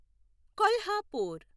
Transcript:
Kolhapur